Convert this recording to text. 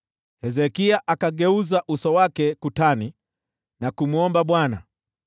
Hezekia akaelekeza uso wake ukutani, akamwomba Bwana :